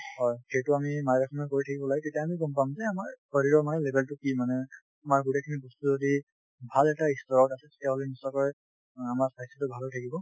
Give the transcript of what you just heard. হয় সেইটো আমি মাজে সময়ে কৰি থাকিব লাগে তেতিয়া আমিও গম পাম যে আমিও গম পাম যে আমাৰ শৰীৰৰ কাৰণে result টো কি মানে । আমাৰ গোটেই খিনি বস্তু যদি ভাল এটা আমাৰ স্বাস্থ্য ভালে থাকিব।